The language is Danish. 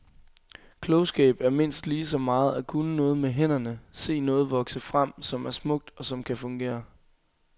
Klogskab er mindst lige så meget at kunne noget med hænderne, se noget vokse frem, som er smukt, og som kan fungere.